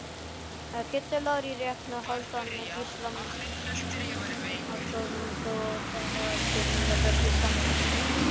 Kiddi Lár í reit, Hálfdán Gísla alltof brothættur Besti samherjinn?